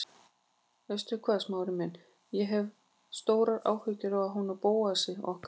Veistu hvað, Smári minn, ég hef stórar áhyggjur af honum Bóasi okkar.